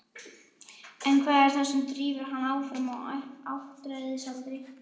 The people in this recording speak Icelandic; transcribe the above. En hvað er það sem drífur hann áfram á áttræðisaldri?